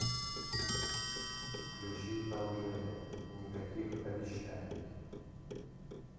включи элджея никаких обещаний